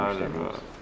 Bəli, bəli.